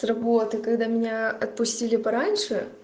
работа когда меня отпустили пораньше